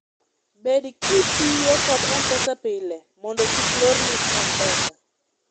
bed kitiyo kod mpesa pile mondo kik lorni mpesa